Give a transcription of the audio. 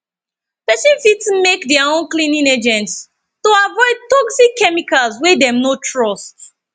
person fit make their own cleaning agents to avoid toxic chemicals wey dem no trust